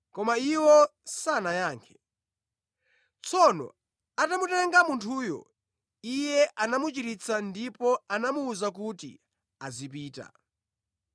Koma iwo sanayankhe. Tsono atamutenga munthuyo, Iye anamuchiritsa ndipo anamuwuza kuti azipita.